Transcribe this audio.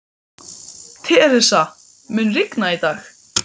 Theresa, mun rigna í dag?